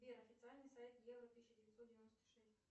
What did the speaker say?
сбер официальный сайт евро тысяча девятьсот девяносто шесть